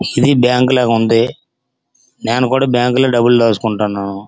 ఇది బ్యాంకు లా ఉంది. నేను కూడా బ్యాంకు లో డబ్బులు దాచుకుంటాను.